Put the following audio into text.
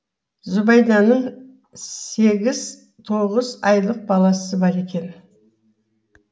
зүбәйданың сегіз тоғыз айлық баласы бар екен